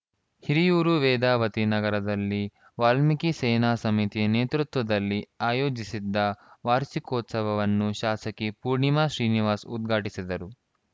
ಹಿರಿಯೂರು ವೇದಾವತಿ ನಗರದಲ್ಲಿ ವಾಲ್ಮೀಕಿ ಸೇನಾಸಮಿತಿ ನೇತೃತ್ವದಲ್ಲಿ ಆಯೋಜಿಸಿದ್ದ ವಾರ್ಷಿಕೋತ್ಸವವನ್ನು ಶಾಸಕಿ ಪೂರ್ಣಿಮಾ ಶ್ರೀನಿವಾಸ್‌ ಉದ್ಘಾಟಿಸಿದರು